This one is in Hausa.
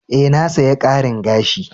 E,na saya karin gashin.